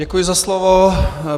Děkuji za slovo.